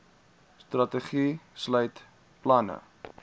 strategie sluit planne